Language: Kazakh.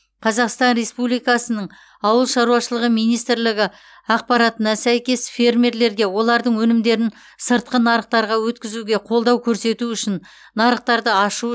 қазақстан республикасы ауылшаруашылығы министрлігі ақпаратына сәйкес фермерлерге олардың өнімдерін сыртқы нарықтарға өткізуде қолдау көрсету үшін нарықтарды ашу